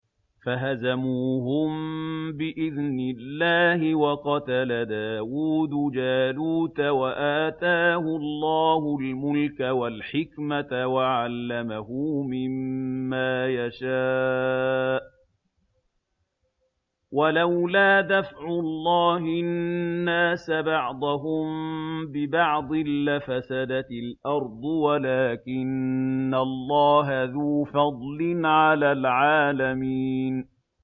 فَهَزَمُوهُم بِإِذْنِ اللَّهِ وَقَتَلَ دَاوُودُ جَالُوتَ وَآتَاهُ اللَّهُ الْمُلْكَ وَالْحِكْمَةَ وَعَلَّمَهُ مِمَّا يَشَاءُ ۗ وَلَوْلَا دَفْعُ اللَّهِ النَّاسَ بَعْضَهُم بِبَعْضٍ لَّفَسَدَتِ الْأَرْضُ وَلَٰكِنَّ اللَّهَ ذُو فَضْلٍ عَلَى الْعَالَمِينَ